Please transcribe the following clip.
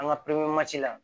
An ka la